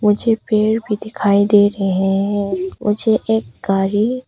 मुझे पेड़ भी दिखाई दे रहे हैं मुझे एक गाड़ी--